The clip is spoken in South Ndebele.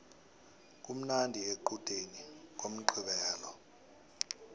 kumnandi equdeni ngomqqibelo